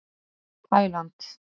Taíland